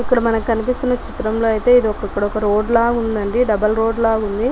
ఇక్కడ మనకి కనిపిస్తున్న చిత్రం లో అయితే ఇది ఒక రోడ్డు లా ఉంది డబుల్ రోడ్డు లా ఉంది.